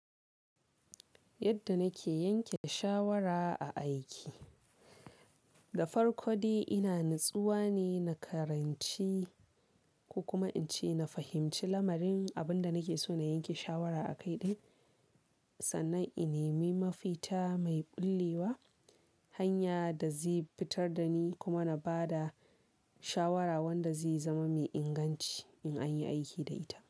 Yadda nake yanke shawara a aiki. Dafarko dai ina natsuwa ne, na karanci ko kuma inci na fahimci lamarin abun da nake so na yanke shawara akai din sannan in nemi mafita mai bullewa hanya da zai fitar da ni kuma na bada shawara wanda zai zama mai inganci in an yi aiki da ita.